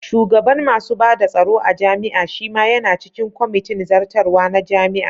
Shugaban masu bada tsaro a jami'a shima yana cikin kwamitin zartarwa na jami'a.